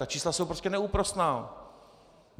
Ta čísla jsou prostě neúprosná.